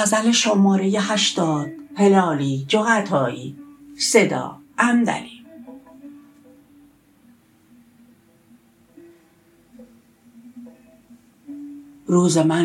روز من